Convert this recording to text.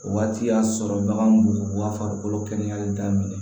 O waati y'a sɔrɔ bagan b'u ka farikolo kɛnɛyali daminɛ